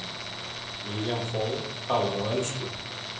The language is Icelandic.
William Fall talar á ensku.